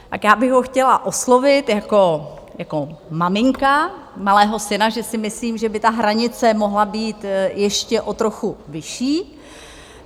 Tak já bych ho chtěla oslovit jako maminka malého syna, že si myslím, že by ta hranice mohla být ještě o trochu vyšší.